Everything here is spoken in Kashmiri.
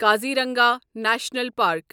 Kaziranga national park